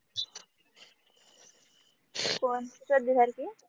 कोण